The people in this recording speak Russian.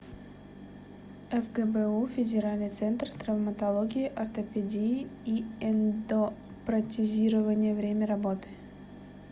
фгбу федеральный центр травматологии ортопедии и эндопротезирования время работы